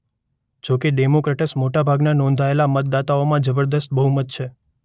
જોકે ડેમોક્રેટ્સ મોટા ભાગના નોંધાયેલા મતદાતાઓમાં જબરજસ્ત બહુમત છે